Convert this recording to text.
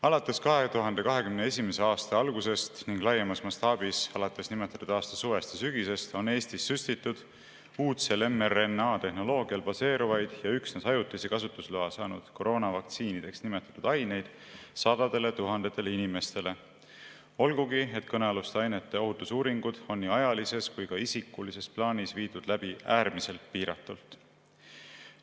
Alates 2021. aasta algusest ning laiemas mastaabis alates nimetatud aasta suvest ja sügisest on Eestis süstitud uudsel mRNA‑tehnoloogial baseeruvaid ja üksnes ajutise kasutusloa saanud koroonavaktsiinideks nimetatud aineid sadadele tuhandetele inimestele, olgugi et kõnealuste ainete ohutuse uuringud on nii ajalises kui ka isikulises plaanis viidud läbi äärmiselt piiratult.